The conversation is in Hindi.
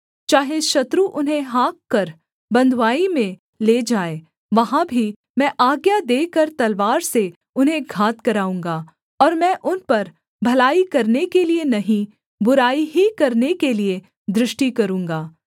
चाहे शत्रु उन्हें हाँककर बँधुआई में ले जाएँ वहाँ भी मैं आज्ञा देकर तलवार से उन्हें घात कराऊँगा और मैं उन पर भलाई करने के लिये नहीं बुराई ही करने के लिये दृष्टि करूँगा